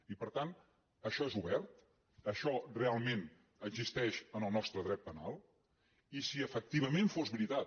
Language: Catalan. i per tant això és obert això realment existeix en el nostre dret penal i si efectivament fos veritat